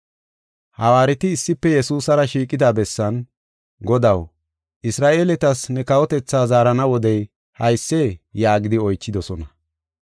Hawaareti issife Yesuusara shiiqida bessan, “Godaw, Isra7eeletas ne kawotetha zaarana wodey haysee?” yaagidi oychidosona.